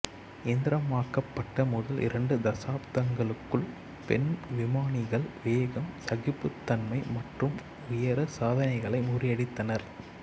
இயந்திரமயமாக்கப்பட்ட முதல் இரண்டு தசாப்தங்களுக்குள் பெண் விமானிகள் வேகம் சகிப்புத்தன்மை மற்றும் உயர சாதனைகளை முறியடித்தனர்